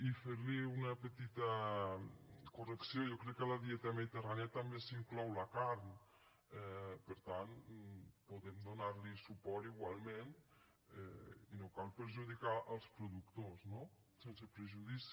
i fer li una petita correcció jo crec que a la dieta mediterrània també s’hi inclou la carn per tant podem donar li suport igualment i no cal perjudicar els productors no sense prejudici